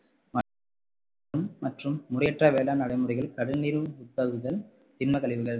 மற்றும் முறையற்ற வேளாண் நடைமுறைகள், கடல்நீர் உட்புகுதல் தின்ம கழிவுகள்